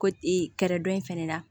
Ko e kɛrɛdɔ in fɛnɛ na